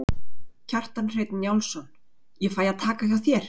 Kjartan Hreinn Njálsson: Ég fæ að taka hjá þér?